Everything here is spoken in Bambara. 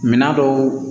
Minan dɔw